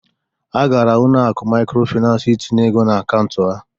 Ha gara ụlọ akụ maịkrofịnansị itinye ego n'akaụntụ ha.